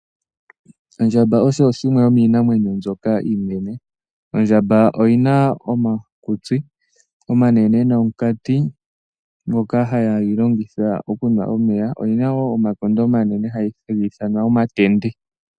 Ondjamba osho shimwe yomiinamwenyo mbyoka iinene, ondjamba oyina omakutsi omanene nonkati ngoka hayi longitha okunwa omeya, oyina wo omakondo omanene hagi ithanwa omatende.